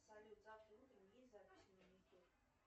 салют завтра утром есть запись на маникюр